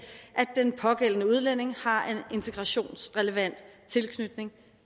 at udlændinge har tilknytning